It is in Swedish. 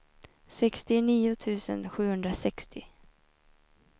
sextionio tusen sjuhundrasextio